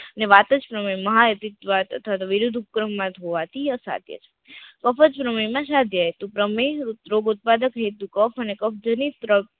ને વાત જ માહાઇન્વર અથવા તો વિરુદ્ધ ઉપક્રમ મત હોવાથી અસાઘ્ય છે કફ જ પ્રમેય માં સાધ્ય તો પ્રમેય ઉપ રોગ હેતુ કફ અને